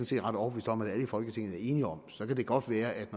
set ret overbevist om at alle i folketinget er enige om så kan det godt være at